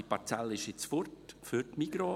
Die Parzelle ist nun weg für die Migros.